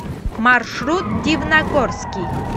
маршрут дивногорский